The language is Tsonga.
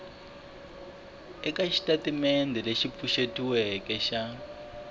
eka xitatimendhe lexi pfuxetiweke xa